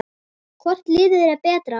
Hvort liðið er betra?